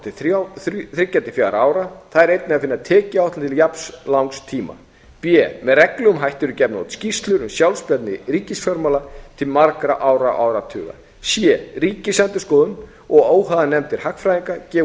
til þriggja til fjögurra ára þar er einnig að finna tekjuáætlun til jafn langs tíma b með reglulegum hætti eru gefnar út skýrslur um sjálfbærni ríkisfjármála til margra ára og áratuga c ríkisendurskoðun og óháðar nefndir hagfræðinga gefa